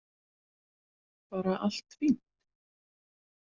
Bara allt fínt.